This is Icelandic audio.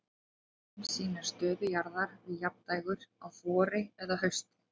Myndin sýnir stöðu jarðar við jafndægur á vori eða hausti.